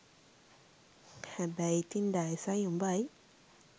හැබැයි ඉතින් ඩයසයි උඹයි